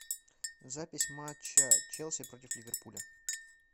запись матча челси против ливерпуля